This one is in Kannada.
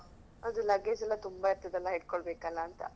ಅದು luggage ಎಲ್ಲಾ ತುಂಬಾ ಇರ್ತದಲ್ಲಾ ಇಟ್ಕೊಳ್ಬೇಕಲ್ಲಾ ಅಂತ.